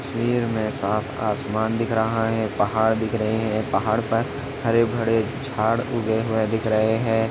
--तस्वीर मे साफ आसमान दिख रहा है पहाड़ दिख रहे है पहाड़ पर हरे भड़े जाड़ उगे हुए दिख रहे है।